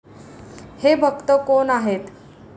हे भक्त कोण आहेत?